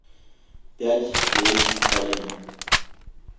пять девять один